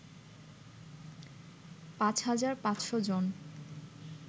৫৫০০ জন